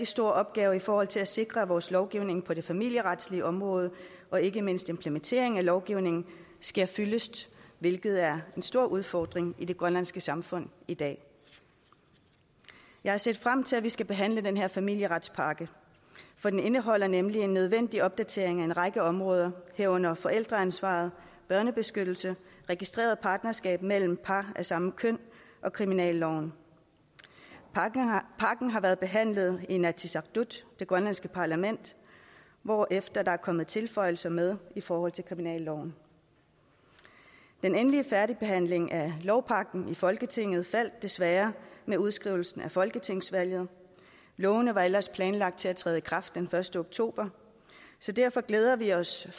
stor opgave i forhold til at sikre at vores lovgivning på det familieretlige område og ikke mindst implementeringen af lovgivningen sker fyldest hvilket er en stor udfordring i det grønlandske samfund i dag jeg har set frem til at vi skal behandle den her familieretspakke for den indeholder nemlig en nødvendig opdatering af en række områder herunder forældreansvar børnebeskyttelse registreret partnerskab mellem par af samme køn og kriminalloven pakken har været behandlet i inatsisartut det grønlandske parlament hvorefter der er kommet tilføjelser med i forhold til kriminalloven den endelige behandling af lovpakken i folketinget faldt desværre med udskrivelsen af folketingsvalget lovene var ellers planlagt til at træde i kraft den første oktober derfor glæder vi os i